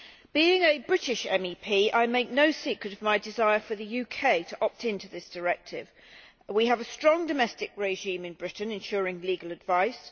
Being a British MEP I make no secret of my desire for the UK to opt in to this directive. We have a strong domestic regime in Britain ensuring legal advice.